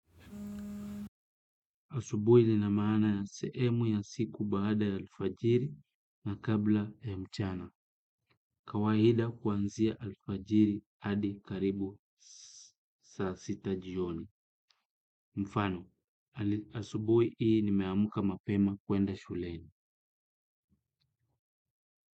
Asubuhi ina maana ya sehemu ya siku baada ya alfajiri na kabla ya mchana. Kawaida kuanzia alfajiri hadi karibu saa sita jioni. Mfano, asubuhi hii nimeamka mapema kuenda shuleni.